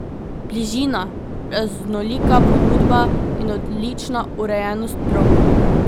Bližina, raznolika ponudba in odlična urejenost prog.